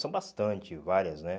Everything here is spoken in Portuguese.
São bastante, várias, né?